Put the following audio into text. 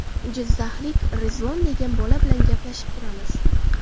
Jizzaxlik Rizvon degan bola bilan gaplashib turamiz.